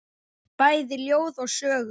Bæði ljóð og sögur.